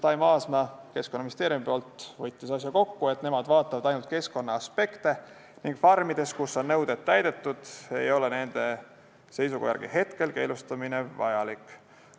Taimo Aasma võttis Keskkonnaministeeriumi nimel asja kokku, et nemad vaatavad ainult keskkonnaaspekte ning farmides, kus nõuded on täidetud, ei ole nende seisukoha järgi hetkel keelustamine vajalik.